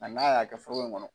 A n'a y'a kɛ foroko in kɔnɔ